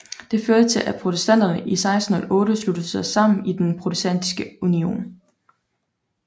Det førte til at protestanterne i 1608 sluttede sig sammen i Den Protestantiske Union